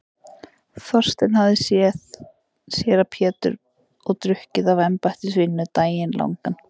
Þaulsetinn hafði séra Pétur verið og drukkið af embættisvíninu daginn langan.